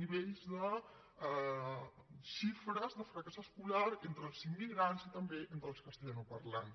nivells de xifres de fracàs escolar entre els immigrants i també entre els castellanoparlants